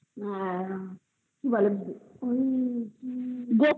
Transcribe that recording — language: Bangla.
কি বলে ঐই আ আ